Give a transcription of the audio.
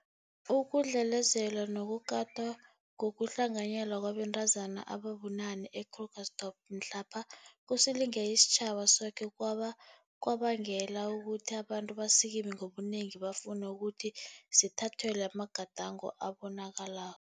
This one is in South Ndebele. Ukudlelezelwa nokukatwa ngokuhlanganyelwa kwabantazana ababunane e-Krugersdorp mhlapha kusilinge isitjhaba soke kwabe kwabangela ukuthi abantu basikime ngobunengi bafune ukuthi zithathelwe amagadango abonakalako